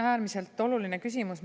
Äärmiselt oluline küsimus.